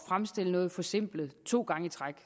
fremstille noget forsimplet to gange i træk